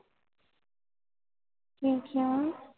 ਕਿ ਕਯਾ